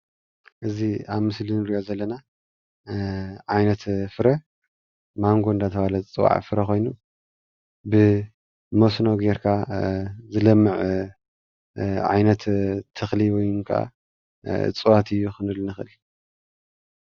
እዚ ኣብ ምስሊ እንሪኦ ዘለና ዓይነት ፍረ ማንጎ እንዳተባሃለ ዝፅዋዕ ፍረ ኮይኑ ብመስኖ ገይርካ ዝለምዕ ዓይነት ተክሊ ወይ ከዓ እፅዋት እዩ ክንብል ንክእል፡፡